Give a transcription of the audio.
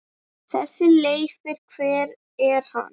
Þessi Leifur. hver er hann?